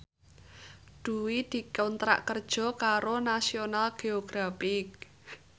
Dwi dikontrak kerja karo National Geographic